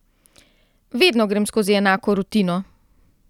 Vedno grem skozi enako rutino.